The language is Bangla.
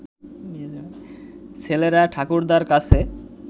ছেলেরা ঠাকুরদার কাছে